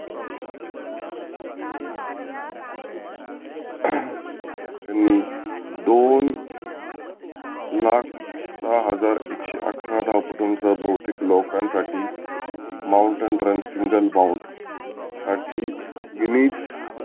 त्यांनी दोन लाख सहा हजार एकशे अठरा धावपटुचा बहुतेक लोकांसाठी mountain run single bought साठी Guinese